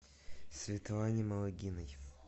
светлане малыгиной